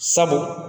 Sabu